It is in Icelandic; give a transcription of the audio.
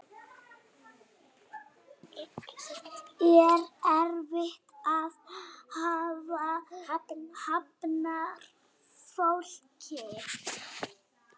Er erfitt að hafna fólki?